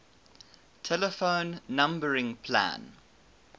telephone numbering plan